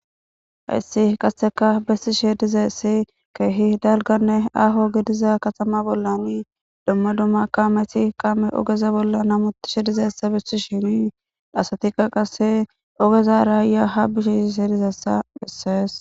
Hyssi qasseka bessi she dizessi keehi dalganne aho gidiza katama bollan domma dumma kaameti qaame ogeza bolla namutishe dizessa bissi shinii dhaasatika qase ogeza raayyaa ha bishi shis hedizassa bessees.